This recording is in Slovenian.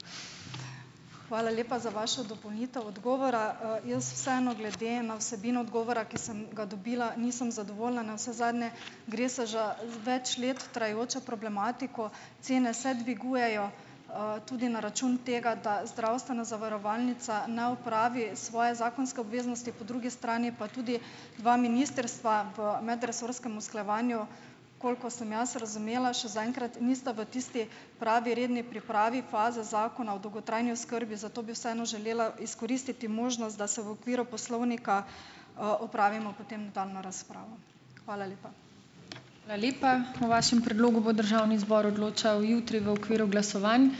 Hvala lepa za vašo dopolnitev odgovora. Jaz vseeno, glede na vsebino odgovora, ki sem ga dobila, nisem zadovoljna. Navsezadnje gre se za več let trajajočo problematiko, cene se dvigujejo, tudi na račun tega, da zdravstvena zavarovalnica ne opravi svoje zakonske obveznosti, po drugi strani pa tudi dva ministrstva v medresorskem usklajevanju, koliko sem jaz razumela, še zaenkrat nista v tisti pravi redni pripravi faze zakona o dolgotrajni oskrbi, zato bi vseeno želela izkoristiti možnost, da se v okviru poslovnika, opravimo potem tam na razprava. Hvala lepa.